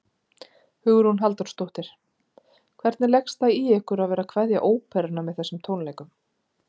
Hugrún Halldórsdóttir: Hvernig leggst það í ykkur að vera að kveðja óperuna með þessum tónleikum?